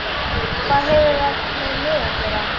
Hvað hefur það með mig að gera?